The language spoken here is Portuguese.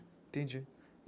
Entendi.